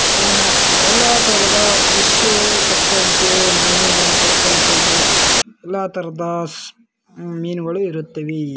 ಎಲ್ಲಾ ತರದ ವಿಷಯ ತಕಂತೆ ತಕಂತೆ ಇದೆ ಎಲ್ಲಾ ತರದ ಮಿನಗಳು ಇರುತ್ತವೆ .